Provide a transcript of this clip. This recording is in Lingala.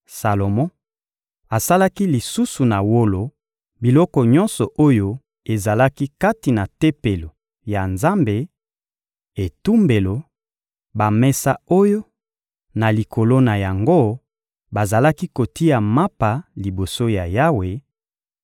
Salomo asalaki lisusu na wolo biloko nyonso oyo ezalaki kati na Tempelo ya Nzambe: etumbelo; bamesa oyo, na likolo na yango, bazalaki kotia mapa liboso ya Yawe;